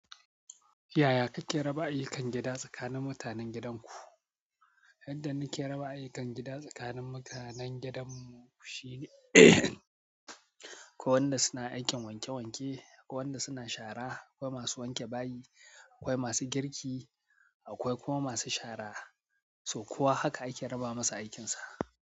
Yaya kake raba ayyukan gida tsakanin mutanen gidanku? Yanda nake raba ayyukan gida tsakanin mutanen gidanmu shine akwai wanda suna aikin wanke wanke, akwai wanda suna shara, akwai masu wanke bayi, akwai masu girki, akwai kuma masu shara. So kowa haka ake raba masa aikinsa.